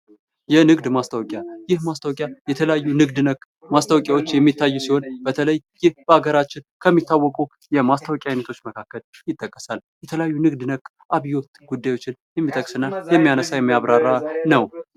የንግድ ማስታወቂያ ይህ ማስታወቂያ የተለያዩ ንግድ ነክ ማስታወቂያዎች የሚታዩ ሲሆን በተለይ ይህ በሀገራችን ከሚታወቁ የማስታወቂያ አይነቶች መካከል ይጠቀሳል። የተለያዩ ንግድ ነክ አብዮት ጉዳዮችን የሚጠቅስ እና የሚያነሳ የሚያብራራ ነው።